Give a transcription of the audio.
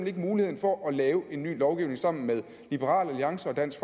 ikke muligheden for at lave en ny lovgivning sammen med liberal alliance og dansk